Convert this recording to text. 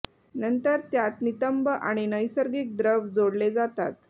नंतर त्यात नितंब आणि नैसर्गिक द्रव जोडले जातात